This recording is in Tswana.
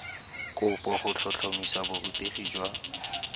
kopo go tlhotlhomisa borutegi jwa